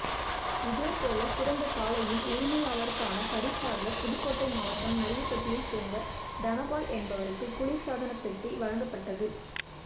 இதே போல சிறந்த காளையின் உரிமையாளருக்கான பரிசாக புதுக்கோட்டை மாவட்டம் நரியப்பட்டியைச் சோ்ந்த தனபால் என்பவருக்கு குளிா்சாதன பெட்டி வழங்கப்பட்டது